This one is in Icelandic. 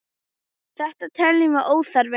Þetta teljum við óþarft.